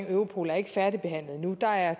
europol er ikke færdigbehandlet endnu der er